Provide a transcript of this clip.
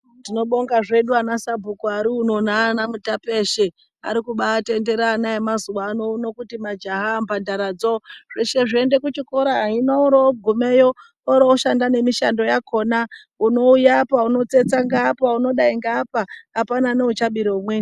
Tinobonga zvedu ana Sabhuku ari uno neana mutape eshe ari kutendera ana emazuva ano kuti majaha, mbandara dzoo zveshe zviende kuchikora hino ogumeyo oryo oshanda nemishando yakona unouya apa wotsetsa ngeapa unodai ngeapa apana neuchabire umweni.